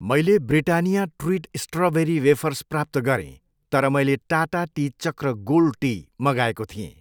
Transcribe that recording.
मैले Britannia treat strawberry wafers प्राप्त गरेँ तर मैले Tata tea Chakra gold tea मगाएको थिएँ।